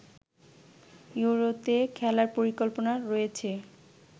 ইউরোতে খেলার পরিকল্পনা রয়েছে